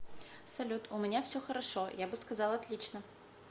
салют у меня все хорошо я бы сказал отлично